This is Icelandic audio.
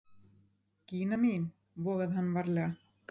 Gína mín, vogaði hann varlega.